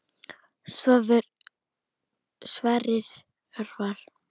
Sverrir Örvar.